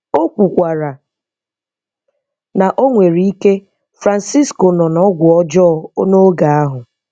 O kwukwara na o nwere ike Francisco nọ n'ọgwụ ọjọọ n'oge ahụ.